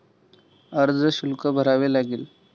अर्जशुल्क भरावे लागेल.